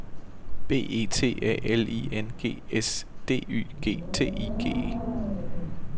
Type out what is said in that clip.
B E T A L I N G S D Y G T I G E